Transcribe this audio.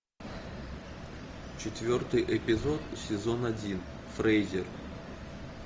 четвертый эпизод сезон один фрейзер